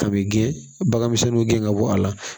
Kabɛn bagan misɛnninw gɛn ka bɔ a la